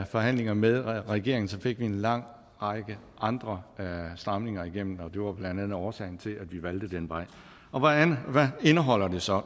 forhandlinger med regeringen fik vi en lang række andre stramninger igennem det var blandt andet årsagen til at vi valgte den vej hvad indeholder det så